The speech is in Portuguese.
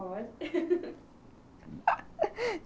Pode